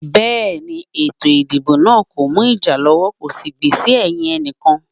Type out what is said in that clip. Bẹ́ẹ̀ni, ètò ìdìbò náà kò mú ìjà lọ́wọ́ kò sì gbè sí ẹ̀yìn ẹnìkan.